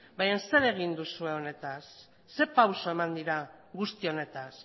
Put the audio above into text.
baina zer egin duzue honetaz zer pauso eman dira guzti honetaz